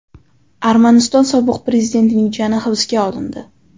Armaniston sobiq prezidentining jiyani hibsga olindi.